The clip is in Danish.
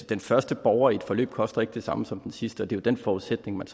den første borger i et forløb ikke koster det samme som den sidste og det er den forudsætning man